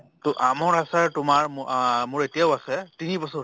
ত আমৰ আচাৰ তোমাৰ ম আহ মোৰ এতিয়াও আছে তিনি বছৰ